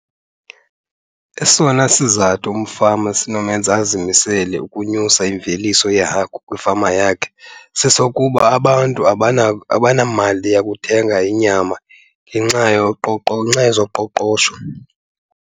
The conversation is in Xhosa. Esona sizathu umfama esinomenza azimisele ukunyusa imveliso yehagu kwifama yakhe sesokuba abantu abanamali yokuthenga inyama ngenxa , ngenxa yezoqoqosho.